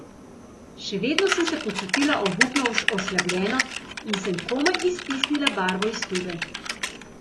Še vedno sem se počutila obupno oslabljeno in sem komaj iztisnila barvo iz tube.